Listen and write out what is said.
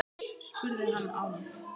spurði hann Álf.